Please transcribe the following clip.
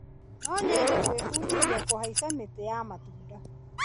No nyende gwĩbundithia kũhaica mĩtĩ ya matunda.